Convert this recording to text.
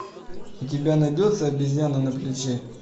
у тебя найдется обезьяна на плече